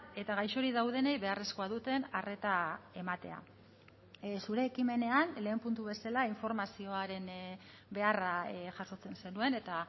eta gaixorik daudenei beharrezkoa duten arreta ematea zure ekimenean lehen puntu bezala informazioaren beharra jasotzen zenuen eta